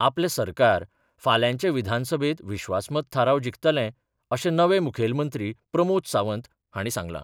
आपलें सरकार फाल्यांच्या विधानसभेत विश्वासमत थाराव जिखतलें अशें नवे मुखेलमंत्री प्रमोद सावंत हांणी सांगलां.